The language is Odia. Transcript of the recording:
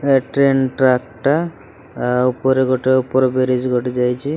ଟ୍ରେନ୍ ଟ୍ରାକ୍ ଟା ଆ ଉପରେ ଗୋଟେ ଉପରେ ଗୋଟେ ଯାଇଚି ।